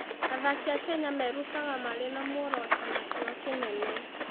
Athaki a Kenya merutaga marĩ na muoroto na kĩyo kĩnene.